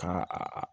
Ka a